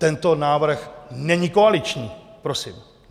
Tento návrh není koaliční prosím.